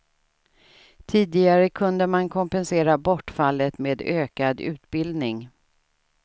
Tidigare kunde man kompensera bortfallet med ökad utbildning.